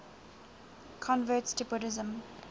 converts to buddhism